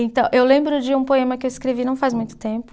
Então, eu lembro de um poema que eu escrevi não faz muito tempo.